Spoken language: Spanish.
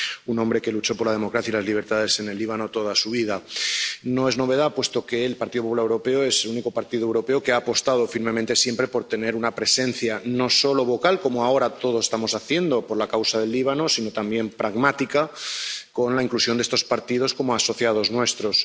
Un hombre que luchó por la democracia y las libertades en el Líbano toda su vida. No es novedad, puesto que el Partido Popular Europeo es el único partido europeo que ha apostado firmemente siempre por tener una presencia, no solo vocal como ahora todos estamos haciendo por la causa del Líbano, sino también pragmática, con la inclusión de estos partidos como asociados nuestros.